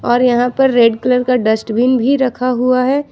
और यहां पर रेड कलर का डस्टबिन भी रखा हुआ है।